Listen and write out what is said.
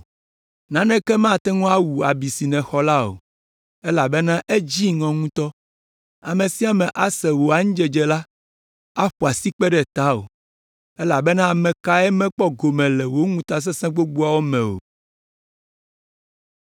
Naneke mate ŋu awu abi si nèxɔ la o, elabena edzi ŋɔ ŋutɔ. Ame sia ame si ase wò anyidzedze la, aƒo asikpe ɖe tawò, elabena ame kae mekpɔ gome le wò ŋutasesẽ gbogboawo me o?